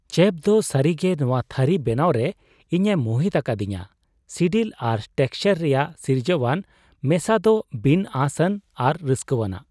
Chef ᱫᱚ ᱥᱟᱹᱨᱤᱜᱮ ᱱᱚᱶᱟ ᱛᱷᱟᱹᱨᱤ ᱵᱮᱱᱟᱣᱨᱮ ᱤᱧᱮ ᱢᱩᱦᱤᱛ ᱟᱠᱟᱫᱤᱧᱟᱹ; ᱥᱤᱰᱤᱞ ᱟᱨ ᱴᱮᱠᱥᱪᱟᱨ ᱨᱮᱭᱟᱜ ᱥᱤᱨᱡᱟᱹᱣᱟᱱ ᱢᱮᱥᱟ ᱫᱚ ᱵᱤᱱ ᱟᱸᱥᱼᱟᱱ ᱟᱨ ᱨᱟᱹᱥᱠᱟᱹᱣᱟᱱᱟᱜ ᱾